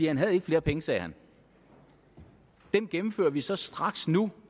han havde ikke flere penge sagde han gennemfører vi så straks nu